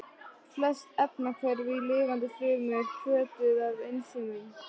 Flest efnahvörf í lifandi frumu eru hvötuð af ensímum.